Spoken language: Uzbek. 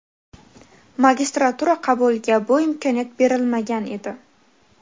Magistratura qabuliga bu imkoniyat berilmagan edi.